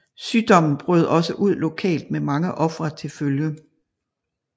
Sygdommen brød også ud lokalt med mange ofre til følge